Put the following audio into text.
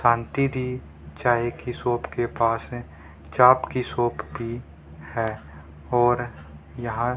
शांति दी चाय की शॉप के पास है चाप की शॉप भी है और यहां --